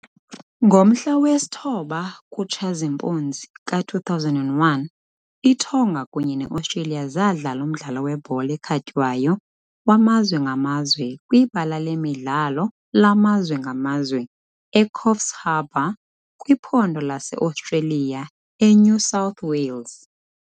Ngomhla wesi-9 kuTshazimpuzi ka-2001, iTonga kunye neOstreliya zadlala umdlalo webhola ekhatywayo wamazwe ngamazwe kwiBala Lemidlalo laMazwe ngaMazwe eCoffs Harbour kwiphondo laseOstreliya eNew South Wales .